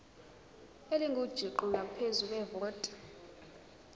elingujuqu ngaphezu kwevoti